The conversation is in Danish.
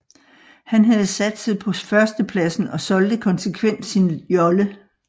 Han havde satset på førstepladsen og solgte konsekvent sin jolle